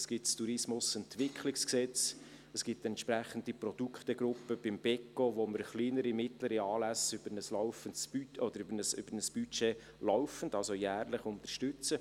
Es gibt das TEG, es gibt eine entsprechende Produktgruppe beim Beco, wo wir kleinere und mittlere Anlässe über ein Budget laufend, also jährlich unterstützen.